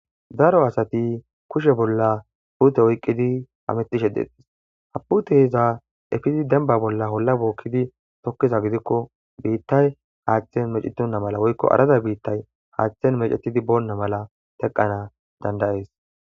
Daro asati kushe bolla puute oyqidi hametishe deetes ha puuteza ekizi demba bola holla bookidi tokiza gidiko biitay haathan mecetona mala woyko arada biitay haathan mecetidi boona mala teqanas danda'es.